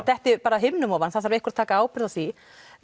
detti bara að himnum ofan það þarf einhver að taka ábyrgð á því